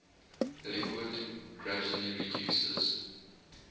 liquid gradually reduces